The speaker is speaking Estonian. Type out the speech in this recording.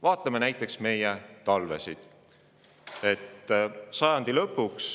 Vaatame näiteks meie talvesid.